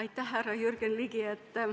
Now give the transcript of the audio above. Aitäh, härra Jürgen Ligi!